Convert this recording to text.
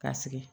Ka sigi